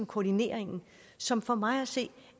koordineringen som for mig at se